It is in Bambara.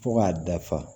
Fo k'a dafa